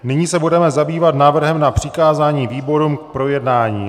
Nyní se budeme zabývat návrhem na přikázání výborům k projednání.